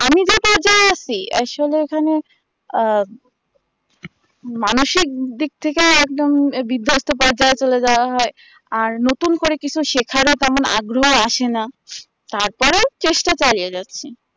আর সময় খানিক আহ মানসিক দিক থেকে একদম বিধস্ত পর্যায়ে চলে যাওয়া হয় আর নতুন করে কিছু শেখারও তেমন আগ্রহ আর আসে না তারপরে চেষ্টা চালিয়ে যাচ্ছি